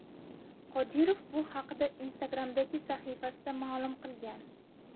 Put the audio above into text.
Qodirov bu haqda Instagram’dagi sahifasida ma’lum qilgan .